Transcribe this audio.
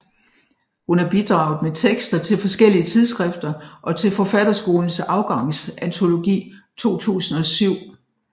Hun har bidraget med tekster til forskellige tidsskrifter og til Forfatterskolens Afgangsantologi 2007